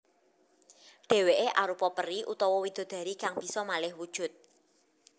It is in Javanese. Dhèwèké arupa peri utawa widodari kang bisa malih wujud